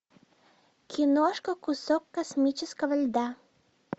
киношка кусок космического льда